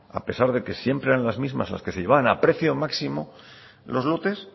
a pesar de que siempre eran las mismas las que se llevaban a precio máximo los lotes